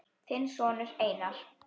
Þinn sonur Einar.